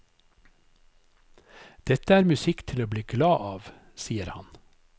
Dette er musikk til å bli glad av, sier han.